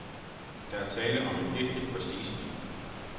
Der er tale om en ægte prestigebil.